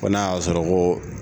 Ko na y'a sɔrɔ ko.